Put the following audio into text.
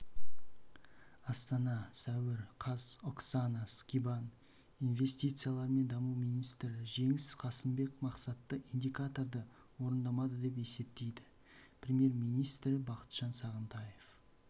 астана сәуір қаз оксана скибан инвестициялар мен даму министрі жеңіс қасымбек мақсатты индикаторды орындамады деп есептейді премьер-министрі бақытжан сағынтаев